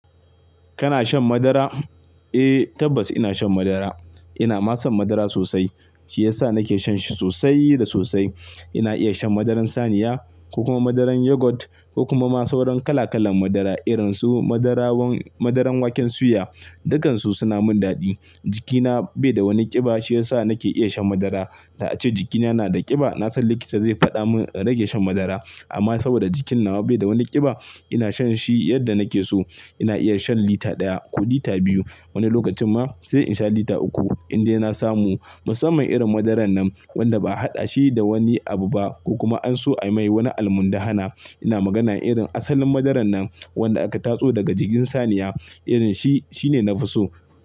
Kana shan madara? Eh tabbas ina shan madara. Ina masan madara sosai, shi ya sa nake shan shi sosai da sosai. Ina iya shan madaran saniya ko kuma madaran yogurt ko kuma masu wurin kala kalan madara irin su madarawan-- madaran waken suya, dukansu suna min daɗi. Jikina bai da wani ƙiba shi ya sa nake iya shan madara. Da ace jikina yana da ƙiba, na san likita zai faɗa mun in rage shan madara. Amma saboda jikina bai da wani ƙiba ina shan shi yadda nake so. Ina iya shan lita ɗaya ko lita biyu, wani lokacin ma sai in sha lita uku. In dai na samu musamman irin madaran nan wanda ba a haɗa shi da wani abu ba ko kuma an so a mai wani almun dhana. Ina magana irin asalin madaran nan wanda aka tatso daga jikin saniya, irin shi, shi ne na fi so.